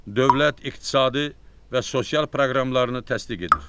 dövlət, iqtisadi və sosial proqramlarını təsdiq edir.